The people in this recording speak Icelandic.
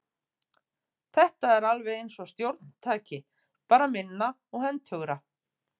Þetta er alveg eins stjórntæki, bara minna og hentugra.